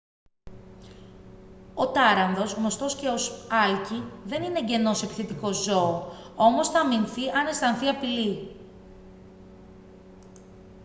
ο τάρανδος γνωστός και ως άλκη δεν είναι εγγενώς επιθετικό ζώο όμως θα αμυνθεί αν αισθανθεί απειλή